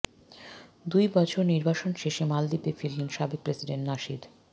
দুই বছর নির্বাসন শেষে মালদ্বীপে ফিরলেন সাবেক প্রেসিডেন্ট নাশিদ